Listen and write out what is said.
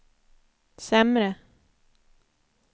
sämre